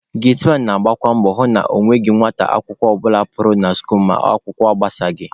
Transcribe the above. Getiman na-agbakwa mbọ hụ na ọ nweghị nwata akwụkwọ ọbụla pụrụ na skuul ma akwụkwọ agbasaghị